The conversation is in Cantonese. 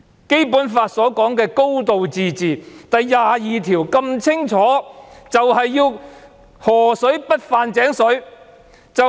《基本法》第二十二條所訂明的"高度自治"便是要河水不犯井水。